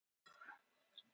Fúsi var í hringjunum.